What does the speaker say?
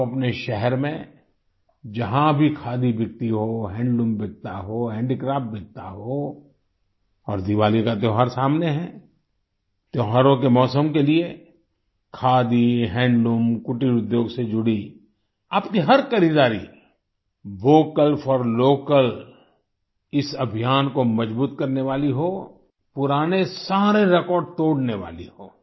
आप अपने शहर में जहाँ भी खादी बिकती हो हैंडलूम बिकता हो हेंडीक्राफ्ट बिकता हो और दिवाली का त्योहार सामने है त्योहारों के मौसम के लिए खादी हैंडलूम कुटीर उद्योग से जुड़ी आपकी हर खरीदारी वोकल फोर लोकल इस अभियान को मजबूत करने वाली हो पुराने सारे रेकॉर्ड तोड़ने वाली हो